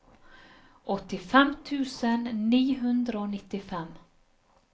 åttifem tusen ni hundre og nittifem